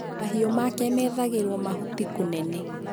mahiũ make meethagĩrwo mahuti kũnene.